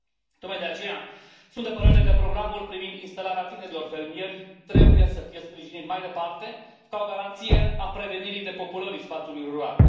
Tocmai de aceea, sunt de părere că programul privind instalarea tinerilor fermieri trebuie să fie sprijinit mai departe, ca o garanție a prevenirii depopulării spațiului rural.